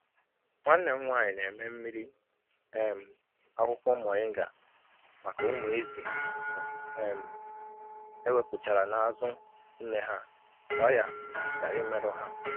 Nwanne m nwanyị na-eme mmiri um akwukwo moringa maka ụmụ ezi e um wepụchara n’azu nne ha ka ọrịa ghara imerụ ha.